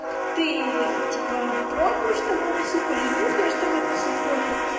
ты типо попробуешь томатный суп или нюхаешь томатный суп пофиг